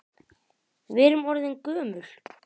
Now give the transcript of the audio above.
Við erum orðin gömul.